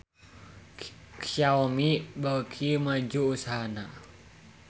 Xiaomi beuki maju usahana